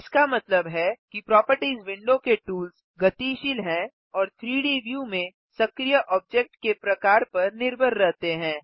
इसका मतलब है कि प्रोपर्टिज़ विंडो के टूल्स गतिशील हैं और 3डी व्यू में सक्रिय ऑब्जेक्ट के प्रकार पर निर्भर रहते हैं